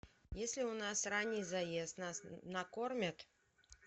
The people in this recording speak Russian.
если у нас ранний заезд нас накормят